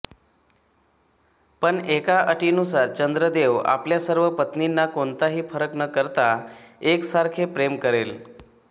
पण एका अटीनुसारचंद्रदेव आपल्या सर्व पत्नींना कोणताही फरक न करता एकसारखे प्रेम करेल